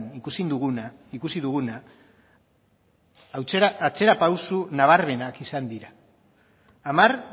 ikusi duguna atzerapauso nabarmenak izan dira hamar